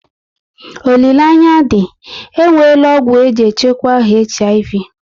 Olileanya dị, e nweela ọgwụ eji echukwa HIV